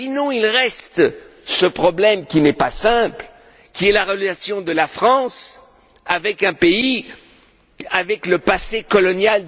Il reste ce problème, qui n'est pas simple, de la relation de la France avec un pays qui a avec elle un passé colonial.